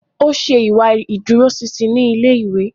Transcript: O ṣe ìwà ìdúróṣinṣin ni ilé-ìwé